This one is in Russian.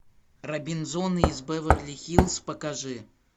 робинзоны из беверли хиллз покажи